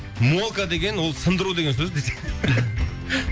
мокка деген ол сындыру деген сөз десең